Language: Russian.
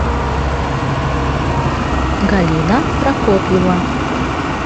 галина прокопьева